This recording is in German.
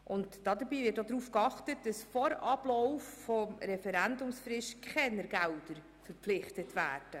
Zudem wird darauf geachtet, dass keine Gelder vor Ablauf der Referendumsfrist verpflichtet werden.